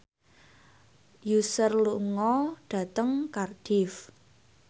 Usher lunga dhateng Cardiff